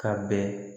Ka bɛn